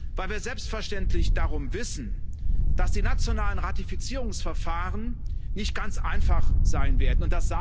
Weil wir selbstverständlich darum wissen, dass die nationalen Ratifizierungsverfahren nicht ganz einfach sein werden.